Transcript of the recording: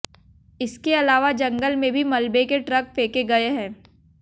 इसके अलावा जंगल में भी मलबे के ट्रक फेंके गए हैं